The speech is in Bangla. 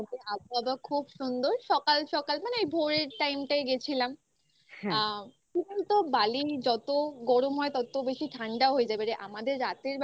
আবহাওয়া খুব সুন্দর. সকাল সকাল মানে এই ভোরের time টায় গেছিলাম আ কি বল তো বালি যত গরম হয় তত বেশি ঠান্ডা হয়ে যাবে রে. আমাদের রাতের বেলা